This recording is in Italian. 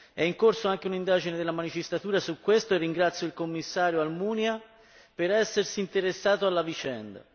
è in corso anche un'indagine della magistratura su questo e ringrazio il Commissario Almunia per essersi interessato alla vicenda.